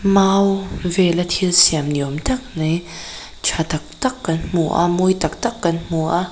mau vela thilsiam ni awmtak mai tha tak tak kan hmu a mawi tak tak kan hmu a--